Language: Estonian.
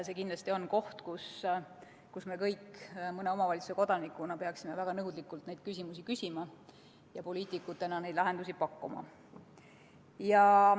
See kindlasti on asi, mille kohta me kõik mõne omavalitsuse kodanikena peaksime väga nõudlikult küsima ja poliitikutena lahendusi pakkuma.